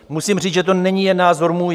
Musím říct, že to není jen názor můj.